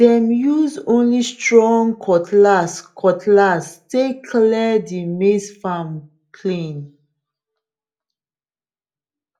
dem use only strong cutlass cutlass take clear the maize farm clean